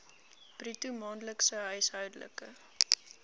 bruto maandelikse huishoudelike